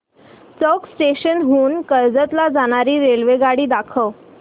चौक station हून कर्जत ला जाणारी रेल्वेगाडी दाखव